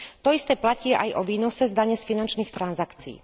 To isté platí aj o výnose z dane z finančných transakcií.